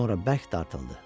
Sonra bərk dartıldı.